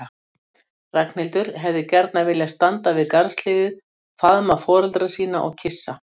Ragnhildur hefði gjarnan viljað standa við garðshliðið og faðma foreldra sína og kyssa.